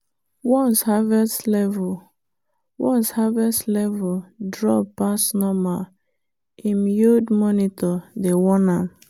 once harvest level once harvest level drop pass normal him yield monitor dey warn am.